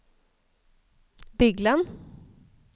Bygland